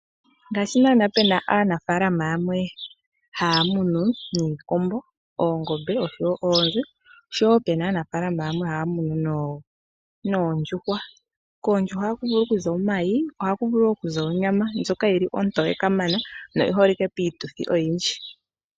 Ngashi nana pena aanafalama yamwe haya munu niikombo, oongombe nosho woo oonzi ,osho woo pena aanafalama yamwe haya munu noondjuhwa, koondjuhwa ohaku vulu okuza omayi nonyama ndjoka yili ontowekamana no oyiholike piituthi oyindji.